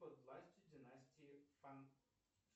под властью династии фан